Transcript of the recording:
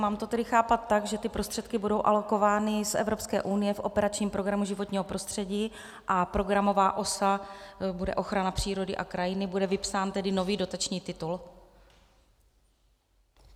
Mám to tedy chápat tak, že ty prostředky budou alokovány z Evropské unie v operačním programu Životní prostředí a programová osa bude ochrana přírody a krajiny, bude vypsán tedy nový dotační titul?